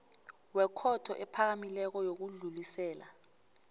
wekhotho ephakamileko yokudlulisela